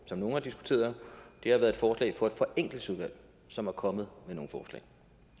som nogle har diskuteret har været et forslag fra et forenklingsudvalg som er kommet med nogle forslag